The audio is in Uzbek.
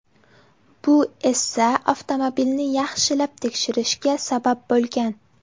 Bu esa avtomobilni yaxshilab tekshirishga sabab bo‘lgan.